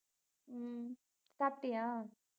உம் சாப்பிட்டியா